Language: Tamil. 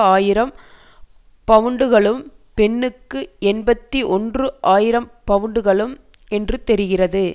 ஆயிரம் பவுண்டுகளும் பெண்ணுக்கு எண்பத்தி ஒன்று ஆயிரம் பவுண்டுகள் என்று தெரிகிறது